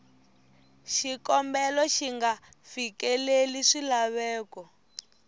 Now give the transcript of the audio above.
xikombelo xi nga fikeleli swilaveko